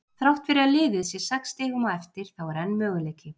Þrátt fyrir að liðið sé sex stigum á eftir þá er enn möguleiki.